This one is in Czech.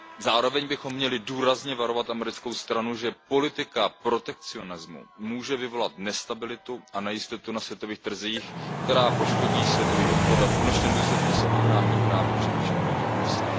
Zároveň bychom měli důrazně varovat americkou stranu, že politika protekcionismu může vyvolat nestabilitu a nejistotu na světových trzích, která poškodí světový obchod a v konečném důsledku se obrátí právě především proti USA.